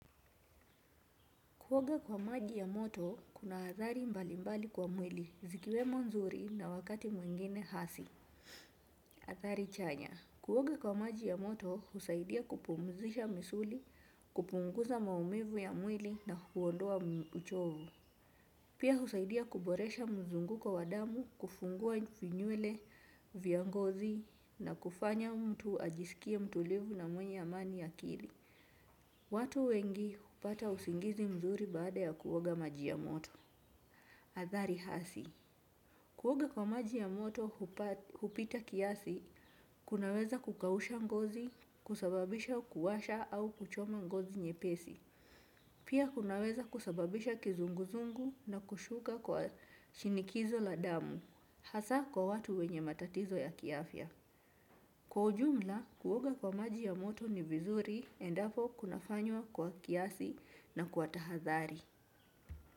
Kuoga kwa maji ya moto, kuna adhari mbali mbali kwa mwili, zikiwemo nzuri na wakati mwengine hasi, adhari chanya. Kuwoga kwa maji ya moto, husaidia kupumzisha misuli, kupunguza maumivu ya mwili na huondoa uchovu. Pia husaidia kuboresha mzunguko kwa wadamu, kufungua vinyule, vyangozi na kufanya mtu ajisikie mtulivu na mwenye amani ya akili. Watu wengi hupata usingizi mzuri baada ya kuoga maji ya moto. Adhari hasi kuoga kwa maji ya moto kupita kiasi kunaweza kukausha ngozi kusababisha kuwasha au kuchoma ngozi. Pia kunaweza kusababisha kizunguzungu na kushuka kwa shinikizo la damu. Hasa kwa watu wenye matatizo ya kiafya. Kwa ujumla, kuoga kwa maji ya moto ni vizuri endapo kunafanywa kwa kiasi na kwa tahathari.